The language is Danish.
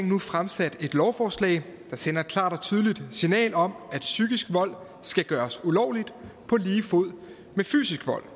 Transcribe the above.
nu fremsat et lovforslag der sender et klart og tydeligt signal om at psykisk vold skal gøres ulovligt på lige fod med fysisk vold